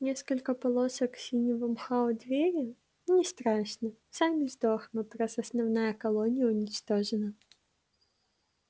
несколько полосок синего мха у двери не страшно сами сдохнут раз основная колония уничтожена